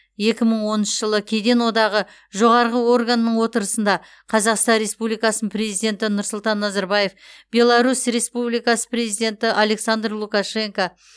екі мың онаншы жылы кеден одағы жоғары органының отырысында қазақстан республикасының президенті нұрсұлтан назарбаев беларусь республикасы президенті александр лукашенко